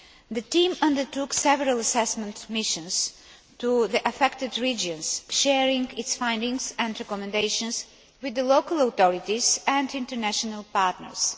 The team undertook several assessment missions to the affected regions, sharing its findings and recommendations with the local authorities and international partners.